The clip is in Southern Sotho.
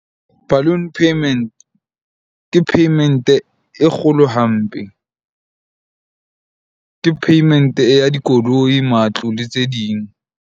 Balloon payment ke payment e kgolo hampe. Ke payment-e ya dikoloi, matlo le tse ding.